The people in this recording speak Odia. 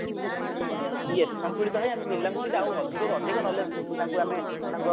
କେମତି ସନ୍ତୁଳିତ ହେଇ ଆମେ ପିଲାଙ୍କୁ ବି ଆମେ ଅଧିକରୁ ଅଧିକ knowledge ତାଙ୍କୁ ଆମେ ତାଙ୍କ